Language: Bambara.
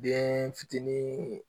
Den fitinin